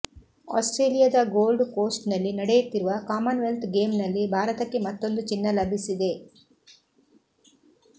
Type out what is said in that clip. ಆಸ್ಟ್ರೇಲಿಯಾದ Gold Coast ನಲ್ಲಿ ನಡೆಯುತ್ತಿರುವ ಕಾಮನ್ ವೆಲ್ತ್ ಗೇಮ್ ನಲ್ಲಿ ಭಾರತಕ್ಕೆ ಮತ್ತೊಂದು ಚಿನ್ನ ಲಭಿಸಿದೆ